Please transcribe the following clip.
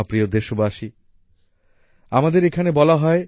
আমার প্রিয় দেশবাসী আমাদের এখানে বলা হয়